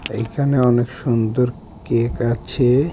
এইখানে অনেক সুন্দর কেক আছে।